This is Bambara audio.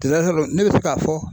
ne bɛ se k'a fɔ